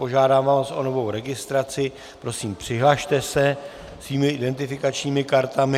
Požádám vás o novou registraci, prosím, přihlaste se svými identifikačními kartami.